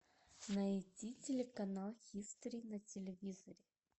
найди телеканал хистори на телевизоре